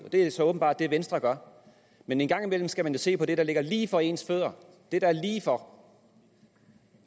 det er så åbenbart det venstre gør men en gang imellem skal man jo se på det der ligger lige for ens fødder det der er lige for